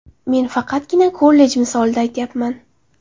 Men faqatgina kollej misolida aytyapman.